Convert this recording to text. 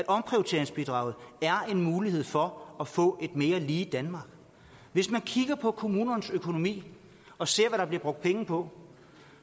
omprioriteringsbidraget er en mulighed for at få et mere lige danmark hvis man kigger på kommunernes økonomi og ser hvad der bliver brugt penge på